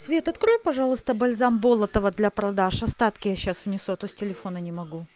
свет открой пожалуйста бальзам болотова для продаж остатки я сейчас внесу а то с телефона не могу